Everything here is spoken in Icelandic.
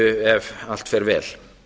ef allt fer vel